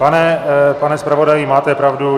Pane zpravodaji, máte pravdu.